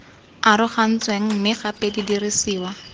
arogantsweng mme gape di dirisiwa